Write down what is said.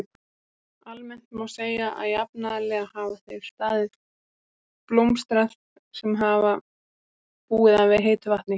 Almennt má segja að jafnaðarlega hafa þeir staðir blómstrað sem hafa búið að heitu vatni.